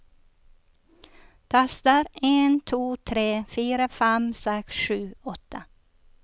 Tester en to tre fire fem seks sju åtte